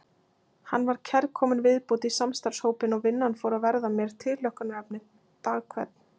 Hann var kærkomin viðbót í samstarfshópinn og vinnan fór að verða mér tilhlökkunarefni dag hvern.